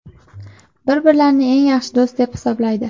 Bir-birlarini eng yaxshi do‘st deb hisoblaydi.